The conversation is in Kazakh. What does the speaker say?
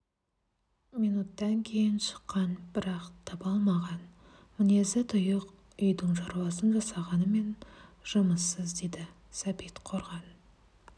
минуттан кейін шыққан бірақ таба алмаған мінезі тұйық үйдің шаруасын жасағанымен жұмыссыз дейді сәбит қорған